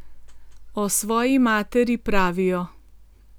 O svoji materi, pravijo.